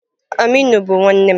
Aminu bu nwannem.